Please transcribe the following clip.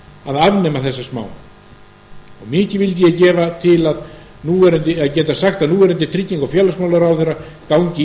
að afnema þessa smán mikið vildi ég gefa til að geta sagt að núverandi trygginga og félagsmálaráðherra gangi